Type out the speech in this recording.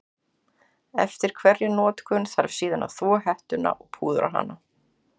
Eftir hverja notkun þarf síðan að þvo hettuna og púðra hana.